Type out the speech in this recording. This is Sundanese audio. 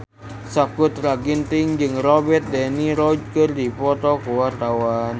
Sakutra Ginting jeung Robert de Niro keur dipoto ku wartawan